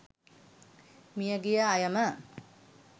මිය ගිය අයම